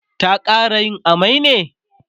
ta ƙara yin amai ne?